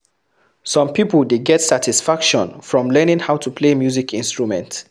Some pipo dey get satisfaction from learning how to play music instrunment